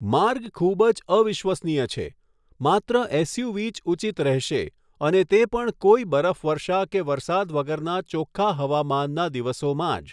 માર્ગ ખૂબ જ અવિશ્વનીય છે, માત્ર એસયુવી જ ઉચિત રહેશે અને તે પણ કોઈ બરફવર્ષા કે વરસાદ વગરના ચોખ્ખા હવામાનના દિવસોમાં જ.